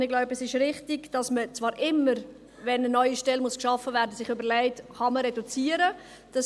Ich denke, es ist richtig, dass man sich immer, wenn eine neue Stelle geschaffen wird, fragt, ob man reduzieren kann.